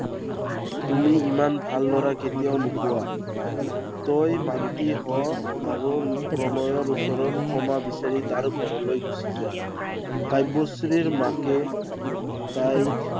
তুমি ইমান ভাল লৰা কেতিয়াও নোপোৱা। তই মান্তি হ আৰু প্ৰণয়ৰ ওচৰত ক্ষমা বিচাৰি তাৰ ঘৰলৈ গুচি যা। কাব্যশ্ৰীৰ মাকে তাইক